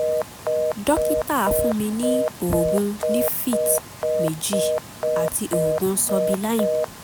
dókítà fún mi ní oògùn livfit méjì àti oògùn sobilime